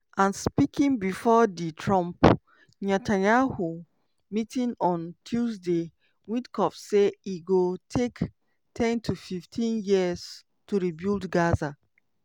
and speaking before di trump-netanyahu meeting on tuesday witkoff say e go take 10-15 years to rebuild gaza.